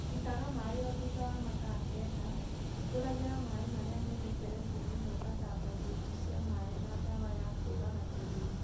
Itaga maaĩ o thutha wa mathaa kenda, hĩngũragĩra maaĩ marĩa me mĩberethi-inĩ na ũgathambagia indo cia maaĩ na ndawa ya kũraga tũgunyũ.